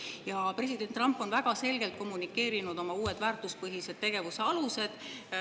Ja president Trump on väga selgelt kommunikeerinud oma uusi väärtuspõhise tegevuse aluseid.